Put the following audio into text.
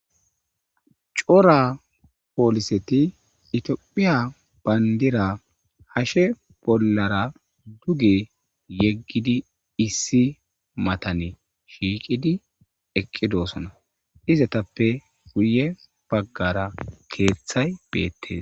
Cora poliset itophiya bandira hashe bollara duge yegid issi matani shiiqidi eqidosona, izetappe guye bagara keethayi beetesi.